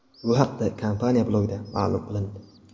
Bu haqda kompaniya blogida ma’lum qilindi .